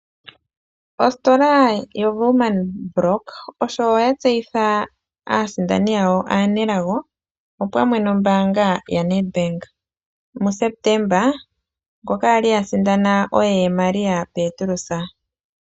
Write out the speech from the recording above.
Ositola yoWoernmann brock osho yatseyitha aasindani yawo aanelago opamwe nombanga yaNedbank. MuSepetemba ngoka kwali a sindana oye Maria Petrus.